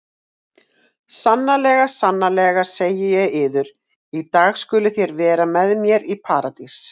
Sannlega, sannlega segi ég yður, í dag skuluð þér vera með mér í Paradís.